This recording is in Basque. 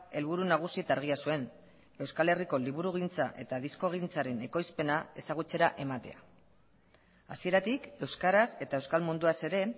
helburu nagusi eta argia zuen euskal herriko liburugintza eta diskogintzaren ekoizpena ezagutzera ematea hasieratik euskaraz eta euskal munduaz ere